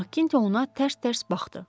Makkinto ona tərs-tərs baxdı.